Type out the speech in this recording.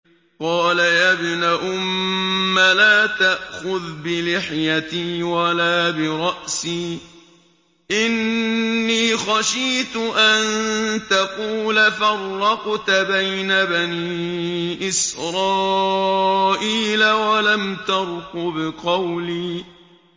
قَالَ يَا ابْنَ أُمَّ لَا تَأْخُذْ بِلِحْيَتِي وَلَا بِرَأْسِي ۖ إِنِّي خَشِيتُ أَن تَقُولَ فَرَّقْتَ بَيْنَ بَنِي إِسْرَائِيلَ وَلَمْ تَرْقُبْ قَوْلِي